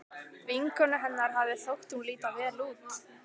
Vinkonu hennar hafði þótt hún líta vel út.